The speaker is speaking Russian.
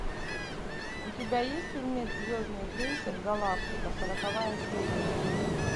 у тебя есть фильмец звездный крейсер галактика сороковая серия